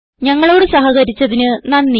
ഞങ്ങളോട് സഹകരിച്ചതിന് നന്ദി